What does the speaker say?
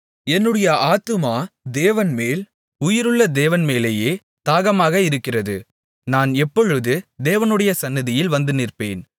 என்னுடைய ஆத்துமா தேவன்மேல் உயிருள்ள தேவன்மேலேயே தாகமாக இருக்கிறது நான் எப்பொழுது தேவனுடைய சந்நிதியில் வந்து நிற்பேன்